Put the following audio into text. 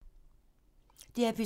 DR P2